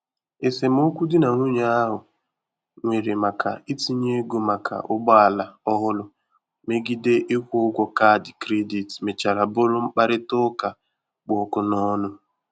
Esemokwu di na nwunye ahụ nwere maka itinye ego maka ụgbọ ala ọhụrụ megide ịkwụ ụgwọ kaadị kredit mechara bụrụ mkparịta ụka kpụ ọkụ n'ọnụ.